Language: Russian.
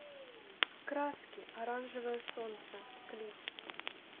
краски оранжевое солнце клип